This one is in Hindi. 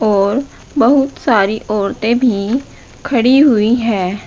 और बहुत सारी औरतें भी खड़ी हुई हैं।